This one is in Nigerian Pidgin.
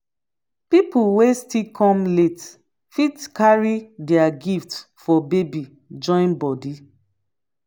pipol wey still kom late fit carry dia gift for baby join body